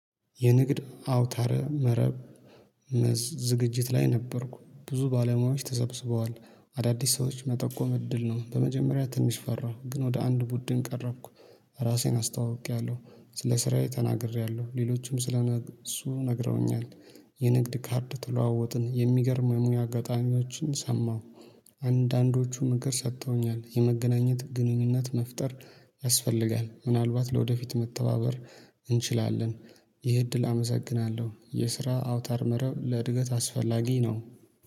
የንግድ አውታር መረብ። ዝግጅት ላይ ነበርኩ ብዙ ባለሙያዎች ተሰብስበዋል አዳዲስ ሰዎች መጠቆም እድል ነው። በመጀመሪያ ትንሽ ፈራው። ግን ወደ አንድ ቡድን ቀረብኩ። ራሴን አስተዋውቄያለሁ ስለ ስራዬ ተናግሬያለሁ። ሌሎችም ስለ እነሱ ነግረውኛል። የንግድ ካርድ ተለዋወጥን የሚገርም ሙያ አጋጣሚዎችን ሰማሁ። አንዳንዶቹ ነገር ሰጥተውኛል። የመገናኘት ግንኙነት መፍጠር ያስፈልጋል። ምናልባት ለወደፊት መተባበር እንችላለን። ይህ እድል አመሰግናለሁ የስራ አውታር መረብ ለእድገት አስፈላጊ ነው